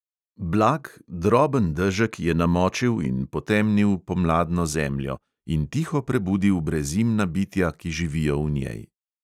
Blag, droben dežek je namočil in potemnil pomladno zemljo in tiho prebudil brezimna bitja, ki živijo v njej.